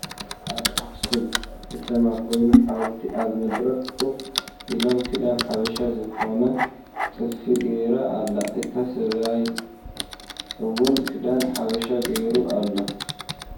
ኣብ ኣኽሱም ክተማ ኮይኑ ሓውልቲ ኣብ መድረኽ ኮፍ ኢሎም ክዳን ሓብሻ ዝኮን ጥልፊ ገራ ኣላ እቲ ሰብኣይ እዉን ክዳን ሓብሻ ጌሩ ኣሎ።